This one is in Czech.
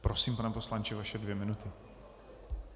Prosím, pane poslanče, vaše dvě minuty.